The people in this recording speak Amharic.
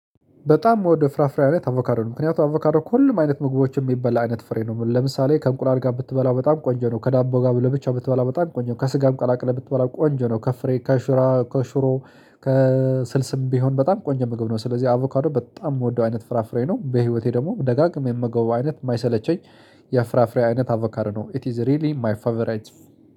በጣም የምወደው ፍራፍሬ አይነት አቮካዶ ነው። ምክንያቱም አቮካዶ ከሁሉም አይነት ምግቦች የሚበላ አይነት ፍሬ ነው። ለምሳሌ ከእንቁላል ጋር ብትበላ በጣም ቆንጆ ነው። ከዳቦ ጋር ብለህ ብቻ ብትበላው በጣም ቆንጆ ነው። ከስጋም ቀላቅለህ ብትበላው ቆንጆ ነው ከፍሬ ከሽራ ከሽሮ ከስልስም ቢሆን በጣም ቆንጆ መግብ ነው። ስለዚህ አቮካዶ በጣም የምወደው አይነት ፍራፍሬ ነው በህይወቴ ደግሞ ደጋግሜ ምመገበው አይነት የማይሰለቸኝ የፍራፍሬ አይነት አቮካዶ ነው ኢት ኢዝ ሪሊ ማይ ፋቨራይት